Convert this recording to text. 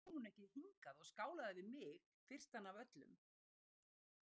Af hverju kom hún ekki hingað og skálaði við mig, fyrstan af öllum?